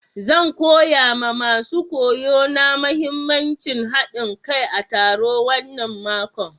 Zan koya ma masun koyo na muhimmancin haɗin kai a taro wanan mako.